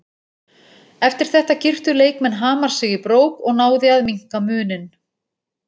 Eftir þetta girtu leikmenn Hamars sig í brók og náði að minnka muninn.